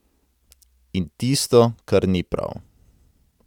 In tisto, kar ni prav.